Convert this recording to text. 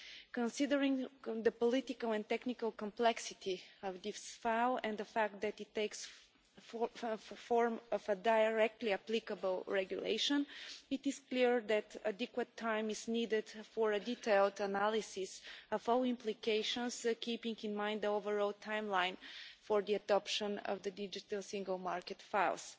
Considering the political and technical complexity of this file and the fact that it takes the form of a directly applicable regulation, it is clear that adequate time is needed for a detailed analysis of all the implications, keeping in mind the overall timeline for the adoption of the digital single market files.